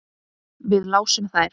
Við lásum þær.